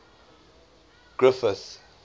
griffith